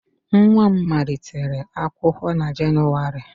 Nwa m malitere akwụkwọ na Jenụwarị